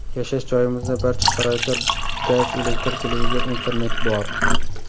Yashash joyimizda barcha sharoitlar gaz, elektr, televizor, internet bor.